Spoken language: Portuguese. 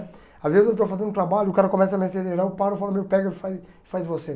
Às vezes eu estou fazendo trabalho, o cara começa a me acelerar, eu paro e falo, meu, pega e faz faz você.